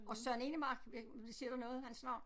Og Søren Enemark ved ikke om det siger dig noget hans navn